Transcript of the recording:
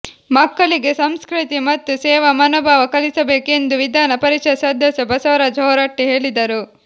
ಮಕ್ಕಳಿಗೆ ಸಂಸ್ಕೃತಿ ಮತ್ತು ಸೇವಾ ಮನೋಭಾವ ಕಲಿಸಬೇಕು ಎಂದು ವಿಧಾನ ಪರಿಷತ್ ಸದಸ್ಯ ಬಸವರಾಜ ಹೊರಟ್ಟಿ ಹೇಳಿದರು